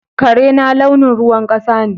Karena launin ruwan kasa ne.